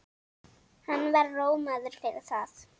Hann var rómaður fyrir það.